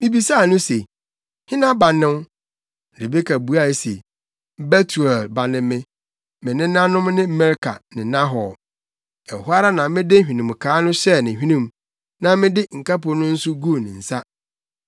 “Mibisaa no se, ‘Hena ba ne wo?’ “Rebeka buae se, ‘Betuel ba ne me. Me nenanom ne Milka ne Nahor.’ “Ɛhɔ ara na mede hwenemkaa no hyɛɛ ne hwenem, na mede nkapo no nso guu ne nsa.